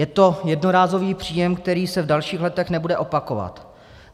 Je to jednorázový příjem, který se v dalších letech nebude opakovat.